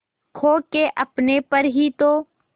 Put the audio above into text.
खो के अपने पर ही तो